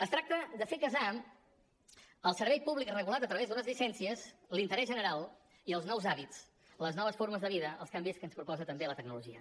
es tracta de fer casar el servei públic regulat a través d’unes llicències l’interès general i els nous hàbits les noves formes de vida als canvis que ens proposa també la tecnologia